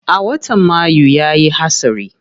A watan mayu yayi hatsari.